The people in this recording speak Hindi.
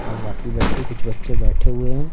और बाकी बच्चे कुछ बच्चे बैठे हुए हैं।